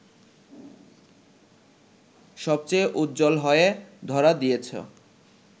সবচেয়ে উজ্জ্বল হয়ে ধরা দিয়েছ